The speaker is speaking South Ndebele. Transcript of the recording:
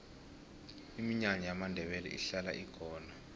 iminyanya yamandebele ihlala ikhona